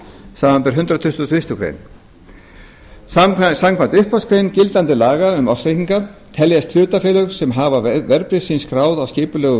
samanber hundrað tuttugasta og fyrstu greinar samkvæmt upphafsgrein gildandi laga um ársreikninga teljast hlutafélög sem hafa verðbréf sín skráð á skipulegum